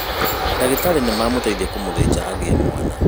Ndagĩtarĩ nĩmamũteithia kũmũthĩja agĩe mwana